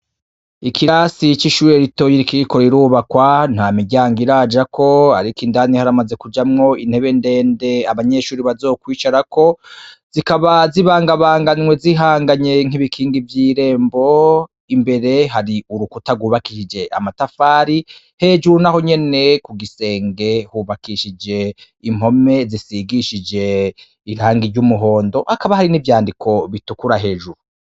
Ikirasi cishure rito rikiriko rirubakwa ntamiryango irajako ariko indani haramaze kujamwo intebe ndende abanyeshure bazokwicarako zikaba zibangabanganywe zihanganye nk'ibikingi vyirembo imbere hari urukuta rwubakishije amatafari hejuru nahonyene kugisenge hubakishije impome zisigishije irangi ryumuhondo hakaba hari nivyandiko bitukura hejuru.